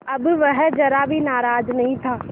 अब वह ज़रा भी नाराज़ नहीं था